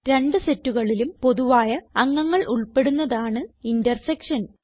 രണ്ട് സെറ്റുകളിലും പൊതുവായ അംഗങ്ങൾ ഉൾപ്പെടുന്നതാണ് ഇന്റർസെക്ഷൻ